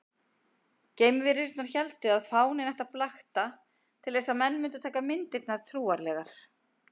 Geimverurnar héldu að fáninn ætti að blakta til þess að menn mundu taka myndirnar trúanlegar.